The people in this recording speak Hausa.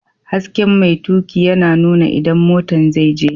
Hasken mai tuƙi yana nuna inda motan zai je.